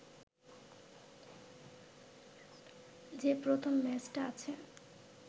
যে প্রথম ম্যাচটা আছে